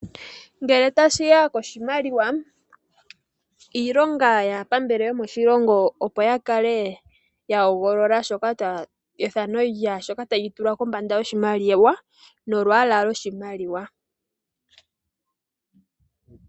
Ngele tashi ya poshimaliwa, ilonga yaapambele yomoshilongo opo ya kale ya hogolola ethano lyaashoka ta shi tulwa koshimaliwa, nolwaala lwoshimaliwa.